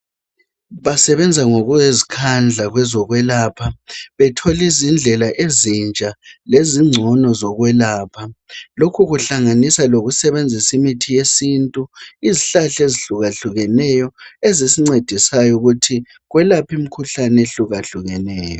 Basebenza ngokuzikhandla kwezokwelapha betholizindlela ezintsha lezingcono zokwelapha. Lokhu kuhlanganisa lokusebenzisa imithi yesintu, izihlahla ezihlukahlukeneyo ezisincedisayo ukuthi kwelaphe imikhuhlane ehlukahlukeneyo.